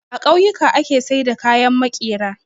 A kauyuka ake saida kayan makera